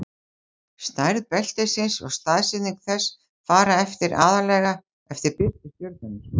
stærð beltisins og staðsetning þess fara eftir aðallega eftir birtu stjörnunnar